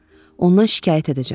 Ondan şikayət edəcəm.